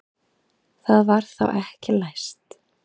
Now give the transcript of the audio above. Það var þá ekki læst!